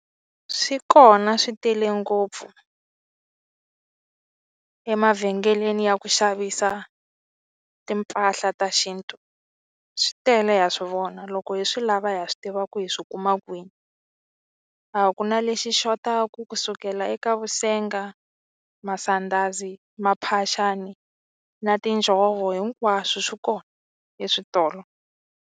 Swi kona swi tele ngopfu emavhengeleni ya ku xavisa timpahla ta xintu swi tele ha swi vona loko hi swi lava hi ha swi tiva ku hi swi kuma kwini a ku na lexi xotaku ku sukela eka vusenga, masandhazi, maphaxani na tinjhovo hinkwaswo swi kona eswitolo.